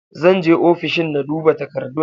Zan je ofishin na duba takardun